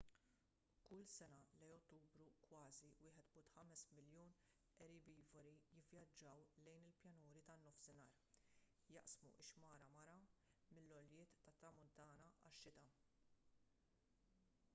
kull sena lejn ottubru kważi 1.5 miljun erbivori jivvjaġġaw lejn il-pjanuri tan-nofsinhar jaqsmu x-xmara mara mill-għoljiet tat-tramuntana għax-xita